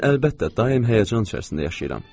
Mən əlbəttə, daim həyəcan içərisində yaşayıram.